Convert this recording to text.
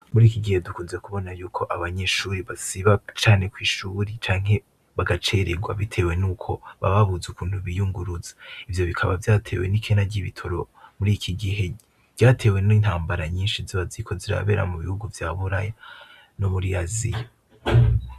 Muri iki gihe dukunze kubona yuko abanyeshuri basiba cane kw'ishuri canke bagacererwa, bitewe n' uko bababuze ukuntu biyunguruza ivyo bikaba vyatewe n'ikena ry'ibitoro muri iki gihe ryatewe no intambara nyinshi zibaziko ziri abera mu bihugu vya buraya no muri asiya.